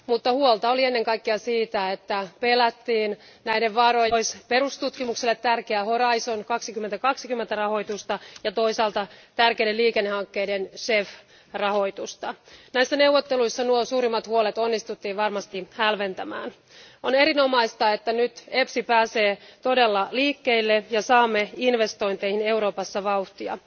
Mutta huolta oli ennen kaikkea siitä, että pelättiin näiden varojen nipistävän pois perustutkimukselle tärkeää Horisontti 2020 rahoitusta ja toisaalta tärkeiden liikennehankkeiden rahoitusta. Näissä neuvotteluissa nuo suurimmat huolet onnistuttiin varmasti hälventämään. On erinomaista, että nyt EFSI pääsee todella liikkeelle ja saamme investointeihin Euroopassa vauhtia.